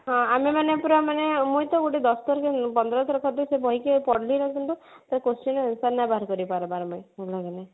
ଆମେମାନେ ପୁରା ମାନେ ମୁଇଁ ତ ଗୋଟେ ଦଶ ଥର କି ପନ୍ଦର ଥର ଖଣ୍ଡେ ସେ ବହି କି ପଢିଲି କିନ୍ତୁ ତା question ର answer ନା ବାହାର କରପାରବାର ବି ଆମେ